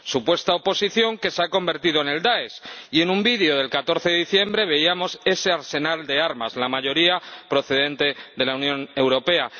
Supuesta oposición que se ha convertido en el Dáesh, y en un vídeo del 14 de diciembre veíamos ese arsenal de armas, la mayoría procedente de la Unión Europea.